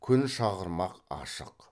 күн шағырмақ ашық